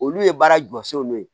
Olu ye baara jɔ so n'o ye